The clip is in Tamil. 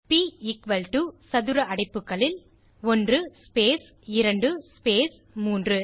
ப் எக்குவல் டோ சதுர அடைப்புகளில் 1 ஸ்பேஸ் 2 ஸ்பேஸ் 3